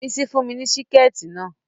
Bísí fún mi ní Síkẹ̀tí